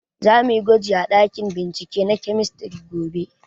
Za muyi gwaji a ɗakin bincike na kemistri gobe